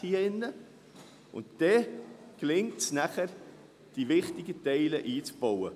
Dann gelingt es nachher, die wichtigen Teile einzubauen.